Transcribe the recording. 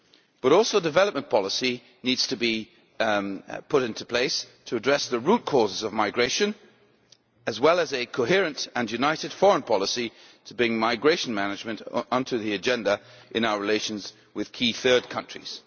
But also, development policy needs to be put in place to address the root causes of migration, as well as a coherent and united foreign policy to bring migration management onto the agenda in our relations with key third countries.